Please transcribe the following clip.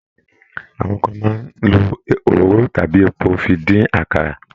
Àwọn kan máa ń lo òróró tàbí epo fi dín àkàrà.